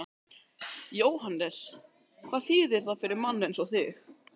Jóhannes: Hvað þýðir það fyrir mann eins og þig?